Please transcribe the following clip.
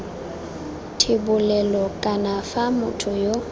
thebolelo kana fa motho yo